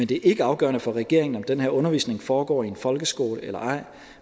det er ikke afgørende for regeringen om den her undervisning foregår i en folkeskole eller ej